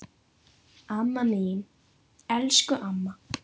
Amma mín, elsku amma.